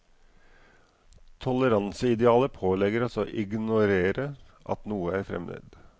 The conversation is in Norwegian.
Toleranseidealet pålegger oss å ignorere at noe er fremmed.